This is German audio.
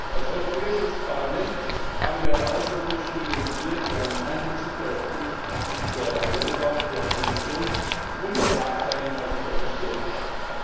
Als Europäisches Parlament haben wir eine Auswirkungsstudie initiiert, die einen Einbezug der Europäischen Aufsichtsbehörde EIOPA, der Kommission und der Marktteilnehmer sichergestellt hat.